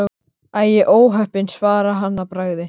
Æi, óheppin svaraði hann að bragði.